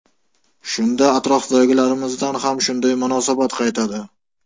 Shunda atrofdagilarimizdan ham shunday munosabat qaytadi”.